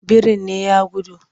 Birin ne ya gudu?